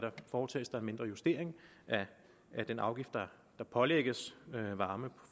foretages der en mindre justering af den afgift der pålægges varme